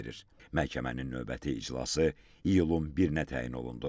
Məhkəmənin növbəti iclası iyulun birinə təyin olundu.